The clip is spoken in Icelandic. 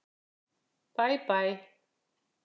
Bæ bæ!